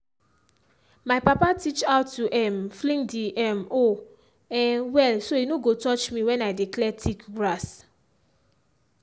my papa teach how to um fling the um hoe um well so e no go touch me when i dey clear thick grass.